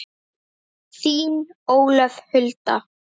Þín, Ólöf Hulda.